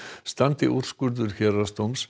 standi úrskurður héraðsdóms